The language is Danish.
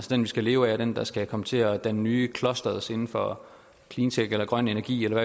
den vi skal leve af og den der skal komme til at danne nye clusters inden for cleantech eller grøn energi